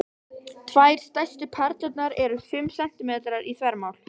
Tvær stærstu perlurnar eru fimm sentímetrar í þvermál.